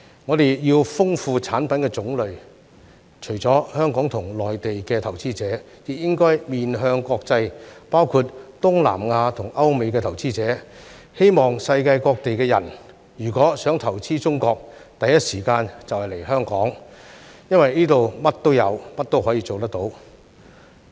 我們要豐富產品的種類，除了香港和內地投資者，亦應該面向國際，包括東南亞和歐美投資者，希望世界各地人如果想投資中國，第一時間就來香港，因為這裏甚麼也有，甚麼也可以做得到。